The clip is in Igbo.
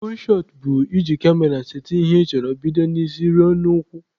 Fuul shọt bụ iji kamera sete ihe ị chọrọ bido n'isi ruo n'ụkwụ.